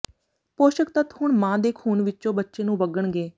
ਪੋਸ਼ਕ ਤੱਤ ਹੁਣ ਮਾਂ ਦੇ ਖ਼ੂਨ ਵਿੱਚੋਂ ਬੱਚੇ ਨੂੰ ਵਗਣਗੇ